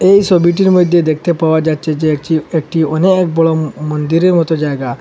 এই সবিটির মইদ্যে দেখতে পাওয়া যাচ্ছে যে একটি একটি অনেক বড় ম মন্দিরের মতো জায়গা।